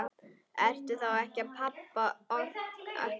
Ertu þá ekki pabbi okkar?